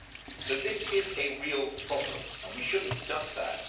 So this is a real problem, and we should not duck that.